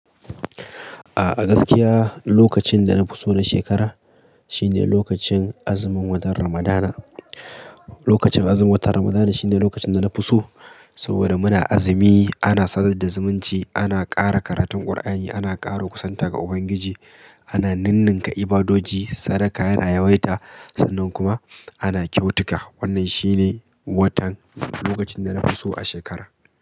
A'a gaskiya lokacin da na fi so na shekara shine lokacin azumin watan Ramadana. Lokacin azumin watan Ramadana shine lokacin da na fi so saboda muna azumi, ana sadar da zumunci, ana kara karatun Kur'ani, ana karo kusanta ga Ubangiji, ana nunnunka ibadoji, sadaka yana yawaita sannan kuma ana kyautuka. Wannan shine watan lokacin da na fi so a shekara.